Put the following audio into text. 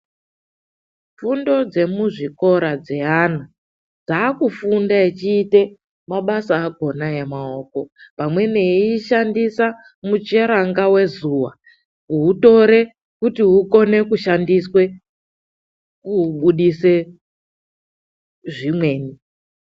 Fundo dzemuzvikora dzeana dzaakufunde achite mabasa akona emaoko, pamweni eishandisa mucheranga vezuva kuutore kuti akone kushandise kuubudise zvimweni.